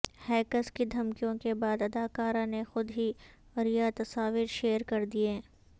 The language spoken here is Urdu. ہیکرز کی دھمکیوں کے بعد اداکارہ نے خود ہی عریاں تصاویر شیئر کردیں